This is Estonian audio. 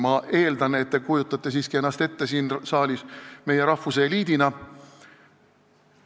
Ma eeldan, et te kujutate ennast siin saalis ette siiski meie rahvuse eliidina.